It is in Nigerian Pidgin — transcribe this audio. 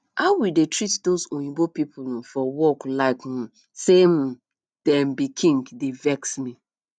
how we dey treat doz oyinbo people um for work like um say um dem be king dey vex me